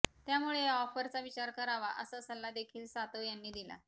त्यामुळे या ऑफरचा विचार करावा असा सल्ला देखील सातव यांनी दिला